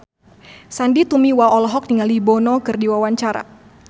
Sandy Tumiwa olohok ningali Bono keur diwawancara